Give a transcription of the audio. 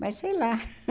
Mas sei lá.